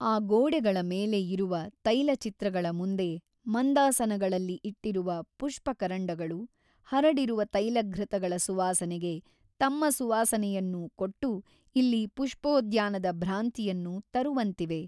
ಆ ಗೋಡೆಗಳ ಮೇಲೆ ಇರುವ ತೈಲಚಿತ್ರಗಳ ಮುಂದೆ ಮಂದಾಸನಗಳಲ್ಲಿ ಇಟ್ಟಿರುವ ಪುಷ್ಟಕರಂಡಗಳು ಹರಡಿರುವ ತೈಲಘೃತಗಳ ಸುವಾಸನೆಗೆ ತಮ್ಮ ಸುವಾಸನೆಯನ್ನೂ ಕೊಟ್ಟು ಇಲ್ಲಿ ಪುಷ್ಟೋದ್ಯಾನದ ಭ್ರಾಂತಿಯನ್ನು ತರುವಂತಿವೆ.